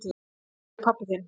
Hvar er pabbi þinn?